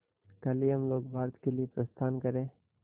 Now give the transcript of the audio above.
कल ही हम लोग भारत के लिए प्रस्थान करें